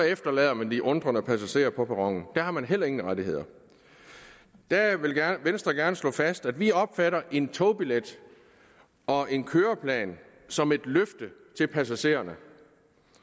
efterladende de undrende passagerer på perronen her har man heller ingen rettigheder der vil venstre gerne slå fast at vi opfatter en togbillet og en køreplan som et løfte til passagererne